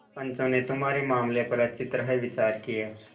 पंचों ने तुम्हारे मामले पर अच्छी तरह विचार किया